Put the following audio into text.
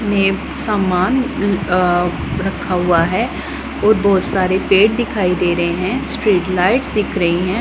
में सामान अ रखा हुआ है और बहोत सारे पेड़ दिखाई दे रहे हैं स्ट्रीट लाइट्स दिख रही हैं।